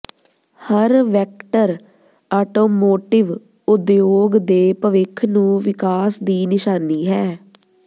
ਹਰ vector automotive ਉਦਯੋਗ ਦੇ ਭਵਿੱਖ ਨੂੰ ਵਿਕਾਸ ਦੀ ਨਿਸ਼ਾਨੀ ਹੈ